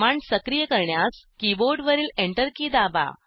command सक्रिय करण्यास कीबोर्डवरील Enter की दाबा